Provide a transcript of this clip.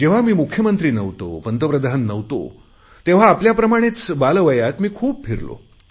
जेव्हा मी मुख्यमंत्री नव्हतो पंतप्रधान नव्हतो तेव्हा आपल्याप्रमाणेच बालवयात मी खूप फिरलो